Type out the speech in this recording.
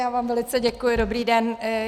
Já vám velice děkuji, dobrý den.